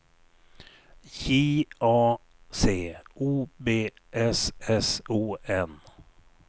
J A C O B S S O N